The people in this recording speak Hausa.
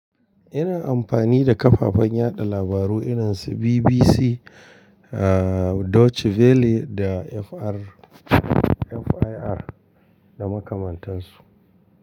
Ina amfani da kafafen yaɗa labaru irin su BBC, Deutsche Welle da FIR da makamantansu.